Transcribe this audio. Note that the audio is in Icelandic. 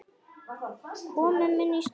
Komum inn í stofu!